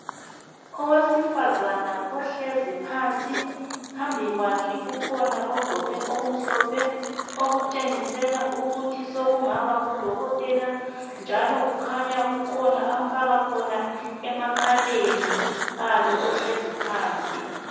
Owesifazana ohlezi phansi, phambi kwakhe kukhona ogqoke okumhlophe okutshengisela ukuthi sekungaba ngudokotela njalo kukhanya kukhona amfaka khona emakhaleni kalo ohlezi phansi.